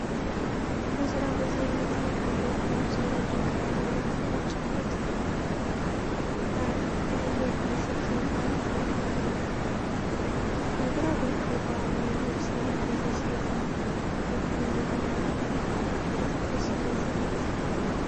በሥራ ቦታ የሚታይ አንድ ወፍራም ሰው ወደ ቀኝ ዞሮ ከነጭ ኮት ባለበሰ ሰው ጋር ይነጋገራል። በግራ በኩል ባህላዊ ልብስ የለበሰች ሴትና የጉብኝቱ አባላት አሉ። የትኩረት ስሜትን ይፈጥራል።